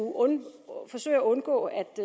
forsøge at undgå at